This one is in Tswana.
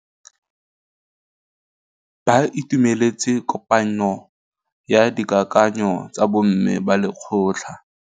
Ba itumeletse kôpanyo ya dikakanyô tsa bo mme ba lekgotla.